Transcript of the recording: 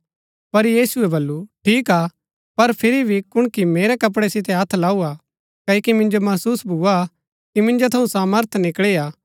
पर यीशुऐ वल्‍लु ठीक हा पर फिरी भी कुणकी मेरै कपड़ै सितै हत्थ लाऊआ क्ओकि मिन्जो महसुस भुआ कि मिन्जो थऊँ सामर्थ निकळी हा